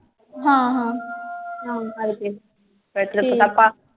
ਹਾਂ ਹਾਂ ਠੀਕ।